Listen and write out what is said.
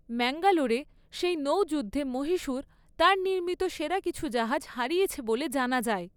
ম্যাঙ্গালোরে সেই নৌযুদ্ধে মহীশূর তার নির্মিত সেরা কিছু জাহাজ হারিয়েছে বলে জানা যায়।